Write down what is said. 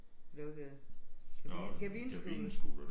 Lukkede kabine kabinescooter